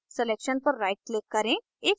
selection पर right click करें